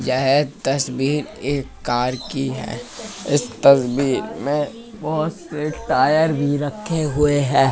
यह तस्वीर एक कार की है इस तस्वीर में बहुत से टायर भी रखे हुए है।